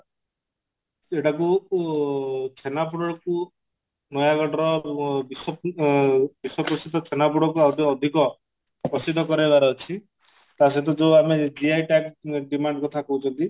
ଏଟାକୁ ଉ ଛେନାପୋଡକୁ ନୟାଗଡର ବିଶ୍ଵ ଅ ବିଶ୍ଵପ୍ରସିଦ୍ଧ ଛେନାପୋଡକୁ ଆଉଟିକେ ଅଧିକ ପ୍ରସିଦ୍ଧ କରେଇବାର ଅଛି ତା ସହିତ ଯଉ ଆମେ GI tag demand କଥା କହୁଛନ୍ତି